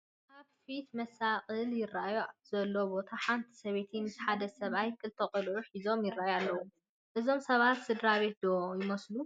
ኣብ ፊት መሳቕል ይርአዩሉ ዘሎ ቦታ ሓንቲ ሰበይቲ ምስ ሓደ ሰብኣይ ክልተ ቆልዑ ሒዞም ይርአዩ ኣለዉ፡፡ እዞም ሰባት ስድራ ቤት ዶ ይመስሉ?